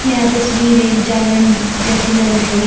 यह तस्वीर एक जागरण जैसी लग रही है।